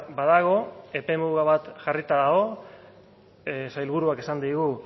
badago epemuga bat jarrita dago sailburuak esan digu